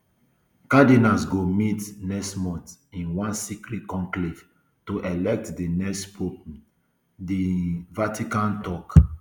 cardinals go meet next month in one secret conclave to elect di next pope um di um vatican tok